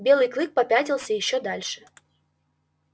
белый клык попятился ещё дальше